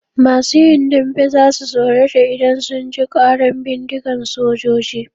Masu yin dambe za su tsorata idan sun ji ƙaran bindigan sojoji.